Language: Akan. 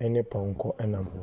ɛne pɔnkɔ nam hɔ.